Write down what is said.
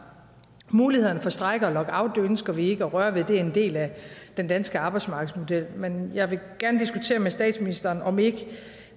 mulighederne for strejke og lockout ønsker vi ikke at røre ved det er en del af den danske arbejdsmarkedsmodel men jeg vil gerne diskutere med statsministeren om ikke